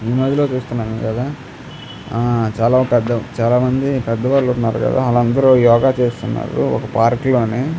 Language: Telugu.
చాల మంది పెద్ద వాలు ఉన్నారు కదా ఒక పార్క్ లోని --